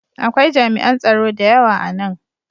Akwai jami'an tsaro da yawa a nan.